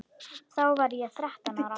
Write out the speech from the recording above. Þá var ég þrettán ára.